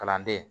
Kalanden